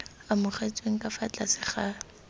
amogetsweng ka fa tlase ga